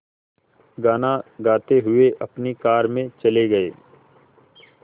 गाना गाते हुए अपनी कार में चले गए